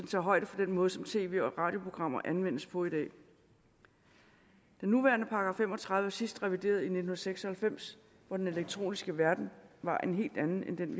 tager højde for den måde som tv og radioprogrammer anvendes på i dag den nuværende § fem og tredive er sidst revideret i nitten seks og halvfems hvor den elektroniske verden var en helt anden end den